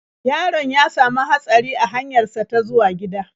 Yaron ya sami hatsari a hanyar sa ta zuwa gida.